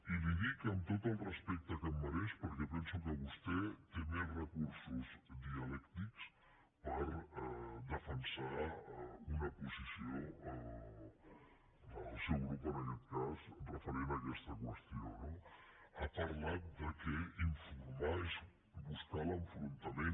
i li ho dic amb tot el respecte que em mereix perquè penso que vostè té més recursos dialèctics per defensar una posició del seu grup en aquest cas referent a aquesta qüestió no ha parlat que informar és buscar l’enfrontament